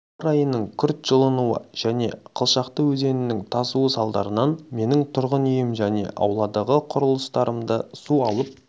ауа-райының күрт жылынуы және қылшақты өзенінің тасу салдарынан менің тұрғын үйім мен ауладағы құрылыстарымды су алып